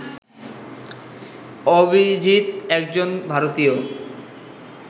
অভিজিত একজন ভারতীয়